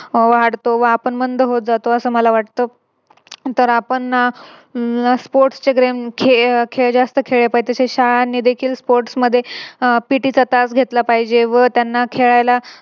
वाढतो व आपण मंद होत जातो असं मला वाटत. तर आपण Sports चे Game शाळांनी देखील Sports मध्ये अह PT चा तास घेतला पाहिजे व त्यांना खेळायला